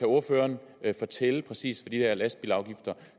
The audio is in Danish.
ordføreren kan fortælle præcis hvad de her lastbilafgifter